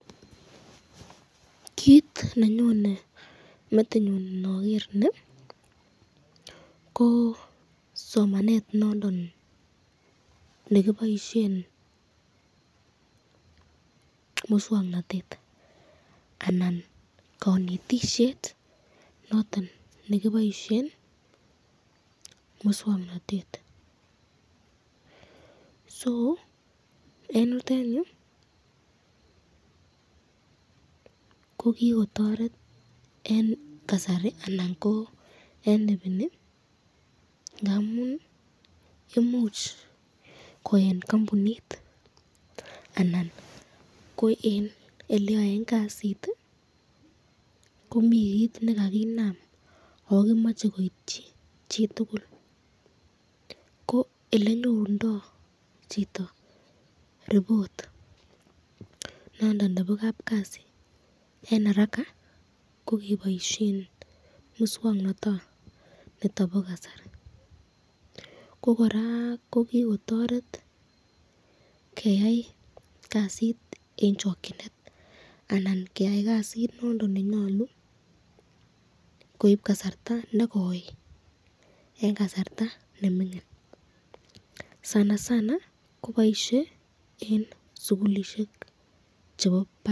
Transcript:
Kit nenyone metinyun inoger ni, ko somanet nondon nekiboisyen miswoknotet ana kanetisyet noton nekiboisyen miswoknotet ,eng yutenyu ko kikotoret eng kasari ana ko eng ibini ngamun imuch ko eng kampunit anan eng eleyoen kasit, ko mi kit nekakinam ako kimache koityi chitukul ko elenyorundo chito report nondon nebo kapkasi eng araka ko keboisyen miswoknotoniton bo kasari, ko koraa kikotoret keyai kasit nenyalu koib kasarta nekoi eng kasarta nemingin, boishet eng sukulishek chebo barak.